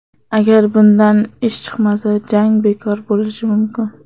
Agar bundan ish chiqmasa, jang bekor bo‘lishi mumkin.